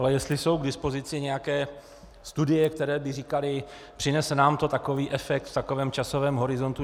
Ale jestli jsou k dispozici nějaké studie, které by říkaly: přinese nám to takový efekt v takovém časovém horizontu.